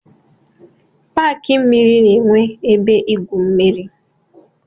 Paki mmiri na-enwe ebe igwu mmiri.